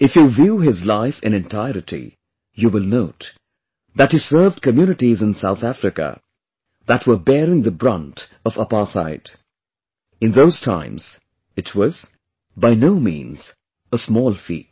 If you view his life in entirety, you will note that he served communities in South Africa that were bearing the brunt of apartheid in those times, it was, by no means a small feat